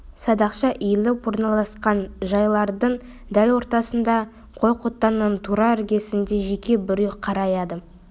садақша иіліп орналасқан жайлардың дәл ортасында қой қотанның тура іргесінде жеке бір үй қараяды